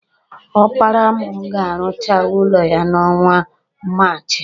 Ọpara mụ ga-arụcha ụlọ ya n'ọnwa Maachị.